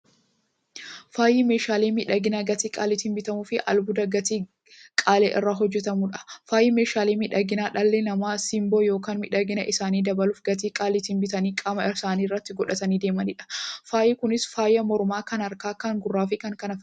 Faayyi meeshaalee miidhaginaa gatii qaalitiin bitamuufi albuuda gatii qaalii irraa hojjatamuudha. Faayyi meeshaalee miidhaginaa, dhalli namaa simboo yookiin miidhagina isaanii dabaluuf, gatii qaalitiin bitanii qaama isaanitti qodhatanii deemaniidha. Faayyi Kunis; faaya mormaa, kan harkaa, kan gurraafi kan kana fakkataniidha.